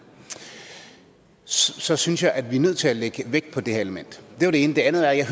så synes jeg at vi er nødt til at lægge vægt på det element det var det ene det er andet er jeg